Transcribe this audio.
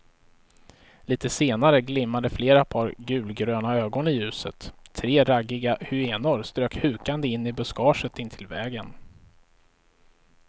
Litet senare glimmade flera par gulgröna ögon i ljuset, tre raggiga hyenor strök hukande in i buskaget intill vägen.